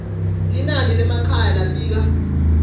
linani lemakhaya labika